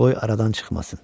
Qoy aradan çıxmasın.